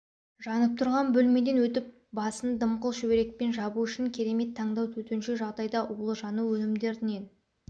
жанып тұрған бөлмеден өтіп басын дымқыл шүберекпен жабу үшін керемет таңдау төтенше жағдайда улы жану өнімдерінен